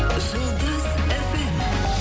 жұлдыз фм